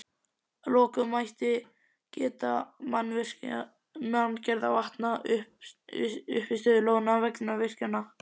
Að lokum mætti geta manngerðra vatna, uppistöðulóna, vegna virkjana.